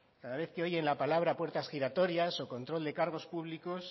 cada vez que oyen la palabra puertas giratorios o control de cargos públicos